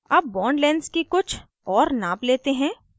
अब bond lengths की कुछ और नाप let हैं